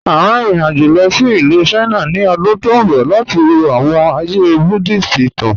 À n rìn ìrìn-àjọ̀ lọ sí Ilù China ni ọ̀dún tó nbọ̀ lati wọ̀ awọn ààyè Buddhist ìtàn.